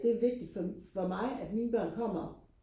det er vigtigt for for mig at mine børn kommer